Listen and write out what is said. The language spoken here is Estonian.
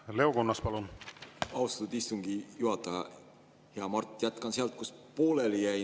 Kui me räägime õpetajate palgast, siis õpetaja riiklikult kehtestatud miinimumpalk sel aastal on 1749 eurot, keskmine õpetaja palk sel aastal on 2048 eurot.